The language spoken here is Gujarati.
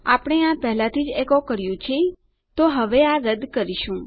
આપણે આ પહેલાથી જ એકો કર્યું છે તો હવે આ રદ્દ કરી શકીએ છીએ